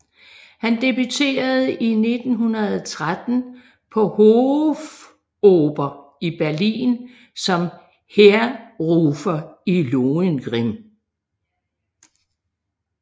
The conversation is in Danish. Han debuterede i 1913 på Hofoper i Berlin som Heerrufer i Lohengrin